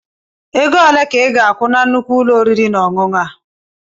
Ego ole ka ịga-akwụ na nnukwu ụlọ oriri na ọṅụṅụ a?